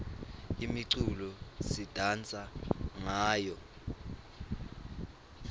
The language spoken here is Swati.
imiculo sidansa ngayo